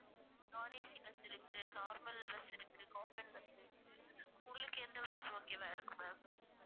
nonACbus இருக்கு normal bus இருக்கு common bus இருக்கு உங்களுக்கு எந்த bus okay வா இருக்கும் ma'am